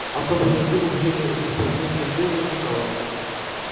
особой нужды в обучении этих парней стрельбе не возникало